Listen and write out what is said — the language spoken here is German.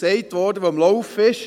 dies wurde gesagt.